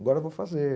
Agora vou fazer.